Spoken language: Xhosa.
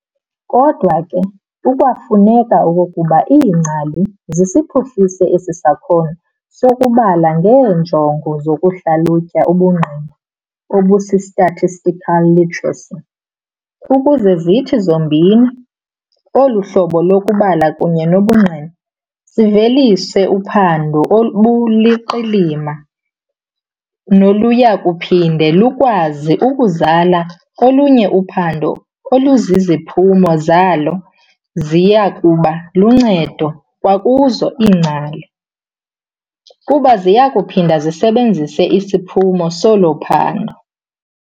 Kodwa ke kukwafuneka okokuba iingcali zisiphuhlise esi sakhono sokubala ngeenjongo zokuhlalutya ubungqina, obusi-statistical literacy, ukuze zithi zombini, olu hlobo lokubala kunye nobungqina, zivelise uphando oluluqilima noluyakuphinde lukwazi ukuzala olunye uphando oluziphumo zalo ziyakuba luncedo kwakuzo iingcali, kuba ziyakuphinda zisisebenzise isiphumo solo phando.